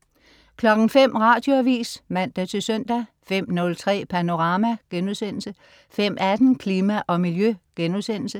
05.00 Radioavis (man-søn) 05.03 Panorama* 05.18 Klima og Miljø*